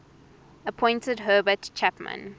appointed herbert chapman